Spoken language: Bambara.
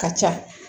Ka ca